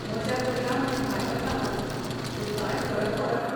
मजा करया म्हूण भायर वतां हांव, पूण का्ंय फरक पडना.